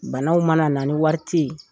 Banaw mana na ni wari tɛ yen